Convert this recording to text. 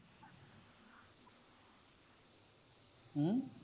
ਹਮ